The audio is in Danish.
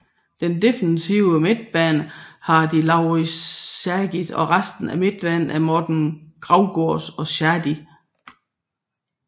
Den defensive midtbane har de Laurits Stagis og resten af midtbanen er Morten Grausgaard og Shadi